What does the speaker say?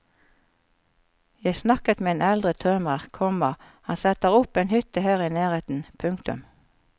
Jeg snakket med en eldre tømrer, komma han setter opp en hytte her i nærheten. punktum